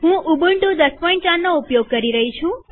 હું ઉબુન્ટુ ૧૦૦૪નો ઉપયોગ કરી રહી છું